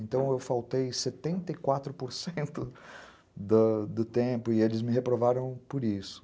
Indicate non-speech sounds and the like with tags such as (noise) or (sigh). Então eu faltei setenta e quatro por cento (laughs) do tempo e eles me reprovaram por isso.